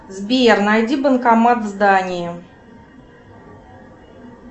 сбер найди банкомат в здании